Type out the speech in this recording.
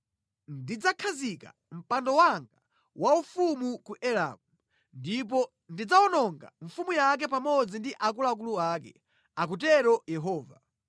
Ndidzakhazika mpando wanga waufumu ku Elamu ndipo ndidzawononga mfumu yake pamodzi ndi akuluakulu ake,” akutero Yehova.